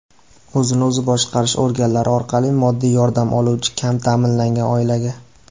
o‘zini o‘zi boshqarish organlari orqali moddiy yordam oluvchi kam taʼminlangan oilaga.